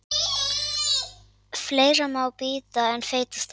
Fleira má bíta en feita steik.